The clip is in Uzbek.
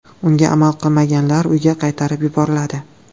Unga amal qilmaganlar uyga qaytarib yuboriladi.